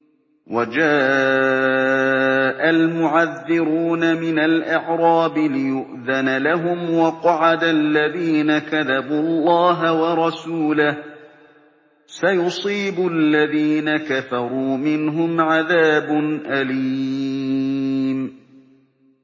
وَجَاءَ الْمُعَذِّرُونَ مِنَ الْأَعْرَابِ لِيُؤْذَنَ لَهُمْ وَقَعَدَ الَّذِينَ كَذَبُوا اللَّهَ وَرَسُولَهُ ۚ سَيُصِيبُ الَّذِينَ كَفَرُوا مِنْهُمْ عَذَابٌ أَلِيمٌ